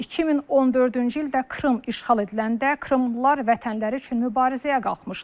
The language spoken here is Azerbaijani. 2014-cü ildə Krım işğal ediləndə Krımlılar vətənləri üçün mübarizəyə qalxmışdılar.